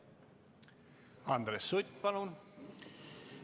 Andres Sutt, palun!